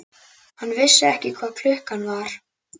Hann vissi ekki hvað klukkan var.